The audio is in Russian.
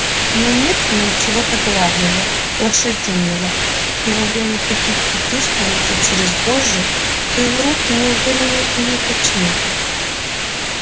но нет в нём чего-то главного лошадиного и во время прикидки чувствуется через вожжи что его руки неуверенны и неточны